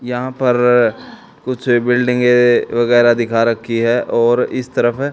यहां पर कुछ बिल्डिंगे वगैरह दिखा रखी है और इस तरफ--